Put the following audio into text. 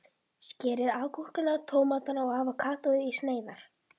Skerið agúrkuna, tómatana og avókadóið í sneiðar.